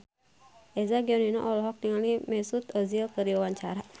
Eza Gionino olohok ningali Mesut Ozil keur diwawancara